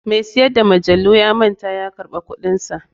Mai siyar da majalu ya manta ya karɓi kuɗinsa.